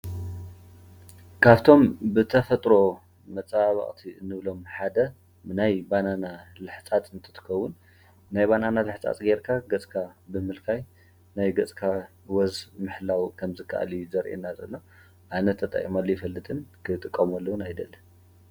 ካፍቶም ብተፎጥሮ መፀባብቅቲ እንብሎም ሓደ ናይ ባናና ልሕፃፅ እንትትከውን ናይ ባናና ልሕፃፅ ጌርካ ገፅካ ብምልካይ ናይ ገፅካ ዎዝ ምሕላው ከምዝካኣል እዩ ዘሪአና ዘሎ። ኣነ ተጠቂመሉ ኣይፈልጥን ።ክትጥቀመሉ እውን ኣይደልን::